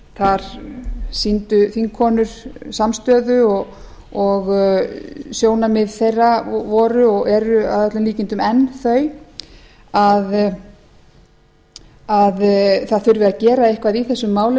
þar sýndu þingkonur samstöðu og sjónarmið þeirra voru og eru að öllum líkindum enn þau að það þurfi að gera eitthvað í þessum málum